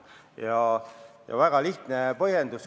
Ja põhjendus on väga lihtne.